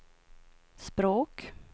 språk